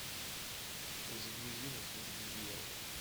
загрузи на службе у дьявола